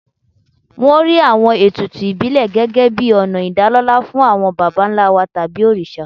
Wọ́n rí àwọn ètùtù ìbílẹ̀ gẹ́gẹ́ bíi ọ̀nà ìdálọ́lá fún àwọn baba ńlá tàbí òrìṣà.